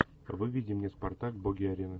выведи мне спартак боги арены